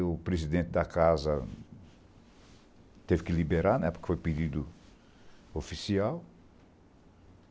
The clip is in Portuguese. o presidente da casa teve que liberar né, porque foi pedido oficial.